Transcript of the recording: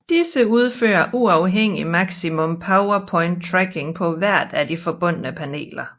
Disse udfører uafhængig maximum power point tracking på hver af de forbundne paneler